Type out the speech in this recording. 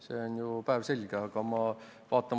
See on ju päevselge!